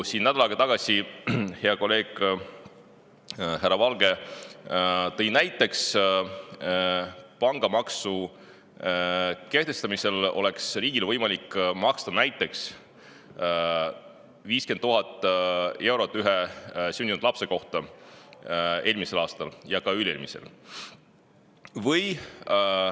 Nädal aega tagasi tõi hea kolleeg härra Valge näiteks, et pangamaksu kehtestamise korral oleks riigil eelmisel ja ka üle-eelmisel aastal olnud võimalik maksta näiteks 50 000 eurot iga sündinud lapse kohta.